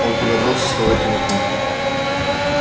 он подобрал со стола телефон